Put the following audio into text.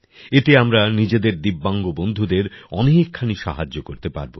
এতে আমরা নিজেদের দিব্যাংগ বন্ধুদের অনেকখানি সাহায্য করতে পারব